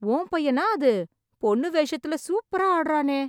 உன் பையனா அது... பொண்ணு வேஷத்துல சூப்பரா ஆடறானே...